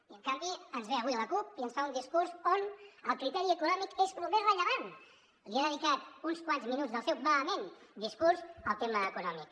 i en canvi ens ve avui la cup i ens fa un discurs on el criteri econòmic és el més rellevant ha dedicat uns quants minuts del seu vehement discurs al tema econòmic